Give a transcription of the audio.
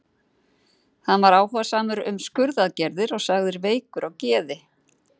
Hann var áhugamaður um skurðaðgerðir og sagður veikur á geði.